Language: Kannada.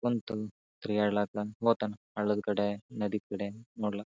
ಬಂತು ತಿರುಗ್ಯಾಡಲಕ ಹೋತಾನ ಹಳ್ಳದ ಕಡೆ ನದಿ ಕಡೆ ನೋಡ್ಲಾಕ.